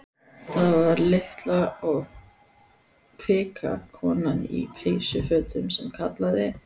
Það var litla og kvika konan í peysufötunum sem kallaði.